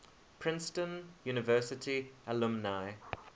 princeton university alumni